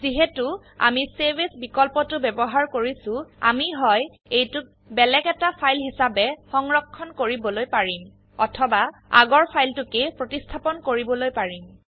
যিহেতু আমি save as বিকল্পটো ব্যবহাৰ কৰিছো আমি হয় এইটোক বেলেগ এটা ফাইল হিসাবে সংৰক্ষণ কৰিবলৈ পাৰিম অথবা আগৰ ফাইলটোকেই প্ৰতিস্থাপন কৰিবলৈ পাৰিম